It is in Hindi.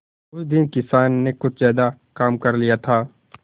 उस दिन किसान ने कुछ ज्यादा काम कर लिया था